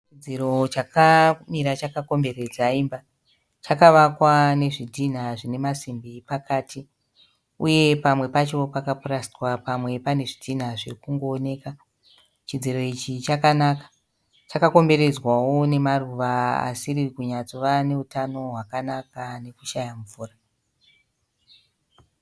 Chidziro chakamira chakakomberedza imba. Chakavakwa nezvidhinha zvine masimbi pakati uye pamwe pacho pakapurasitwa pamwe pane zvidhina zviri kungooneka. Chidziro ichi chakanaka. Chakakomberedzwawo nemaruva asiri kunyatsova neutano hwakanaka nekushaya mvura.